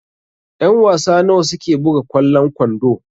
Ƴan-wasa nawa suke buga kwallon kwando?